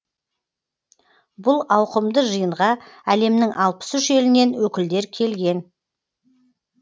бұл ауқымды жиынға әлемнің алпыс үш елінен өкілдер келген